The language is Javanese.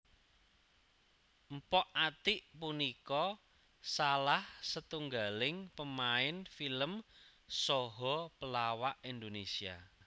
Mpok Atiek punika salah setunggaling pemain film saha pelawak Indonesia